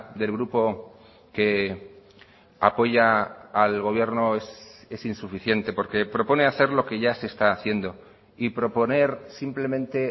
del grupo que apoya al gobierno es insuficiente porque propone hacer lo que ya se está haciendo y proponer simplemente